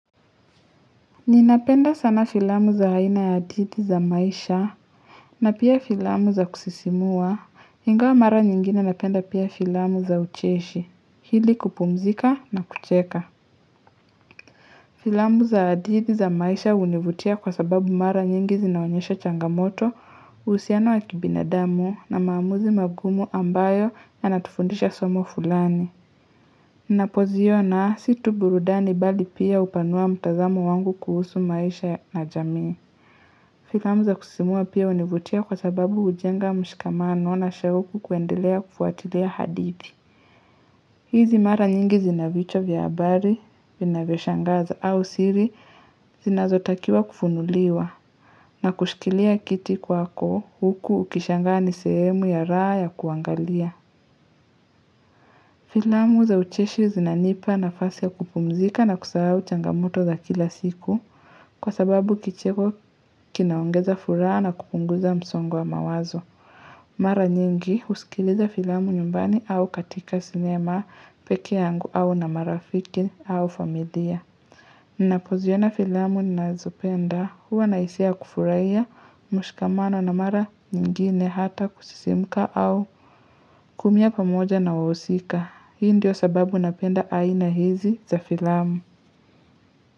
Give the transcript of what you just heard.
Ninapenda sana filamu za haina ya hadithi za maisha, na pia filamu za kusisimua, ingawa mara nyingine napenda pia filamu za ucheshi, hili kupumzika na kucheka. Filamu za hadihii za maisha univutia kwa sababu mara nyingi zinaonyesha changamoto, uhusiana wa kibina damu na maamuzi magumu ambayo ya natufundisha somo fulani. Ninapo zio na situburudani bali pia upanua mtazamo wangu kuhusu maisha na jamii. Filamu za kusimua pia univutia kwa sababu ujenga mshikamano na shauku kuendelea kufuatilea hadithi. Hizi mara nyingi zinavichwa vya habari, vina vya shangaza au siri zinazotakiwa kufunuliwa na kushikilia kiti kwako huku ukishangani sehemu ya raha ya kuangalia. Filamu za ucheshi zinanipa na fasi ya kupumzika na kusahau uchangamoto za kila siku kwa sababu kicheko kinaongeza furaha na kupunguza msongo wa mawazo. Mara nyingi usikiliza filamu nyumbani au katika sinema peke yangu au na marafiki au familia ninapoziona filamu nina zopenda huwa na hisia kufurahiya mshikamano na mara nyingine hata kusisimka au kuumia pa moja na wahusika hii ndio sababu napenda aina hizi za filamu.